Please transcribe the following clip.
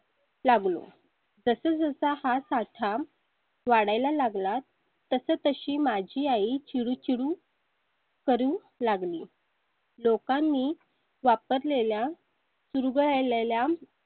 लागलो तसा हा साठा वाढायला लागला तसं तशी माझी आई चिरू चिरू. करूं लागली. लोकांनी वापरलेल्या पिरघडलेल्या